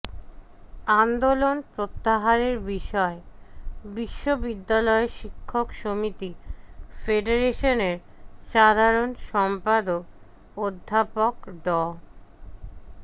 আন্দোলন প্রত্যাহারের বিষয়ে বিশ্ববিদ্যালয় শিক্ষক সমিতি ফেডারেশনের সাধারণ সম্পাদক অধ্যাপক ড